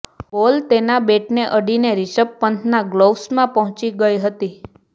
બોલ તેના બેટને અડીને રિષભ પંતના ગ્લવ્સમાં પહોચી ગઇ હતી